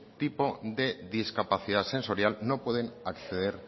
tipo de discapacidad sensorial no pueden acceder